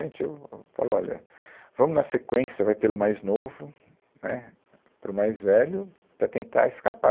Então, falou, olha, vamos na sequência, vai pelo mais novo, né, para o mais velho para tentar escapar.